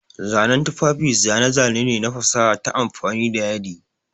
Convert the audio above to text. Zanen tufafi zane-zane ne na fasaha ta amfani da yadi.